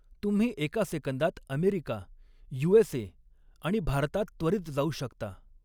तुम्ही एका सेकंदात अमेरिका, यू.एस.ए. आणि भारतात त्वरित जाऊ शकता.